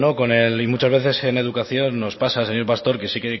con él y muchas veces en educación nos pasa señor pastor que sí